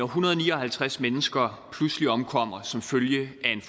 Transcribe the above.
hundrede og ni og halvtreds mennesker pludselig omkommer som følge af en